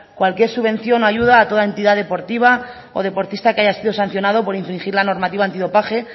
cualquier subvención o ayuda a toda entidad deportiva o deportista que haya sido sancionado por infligir la normativa antidopaje